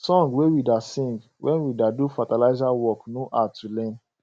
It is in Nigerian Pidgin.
song wey we da sing when we da do fertiliza work no hard to learn